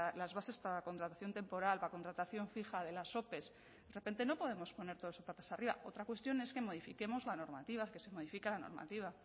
las bases para la contratación temporal para contratación fija de las ope de repente no podemos poner todo eso patas arriba otra cuestión es que modifiquemos la normativa que se modifique la normativa